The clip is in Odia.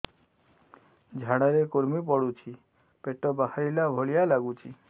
ଝାଡା ରେ କୁର୍ମି ପଡୁଛି ପେଟ ବାହାରିଲା ଭଳିଆ ଲାଗୁଚି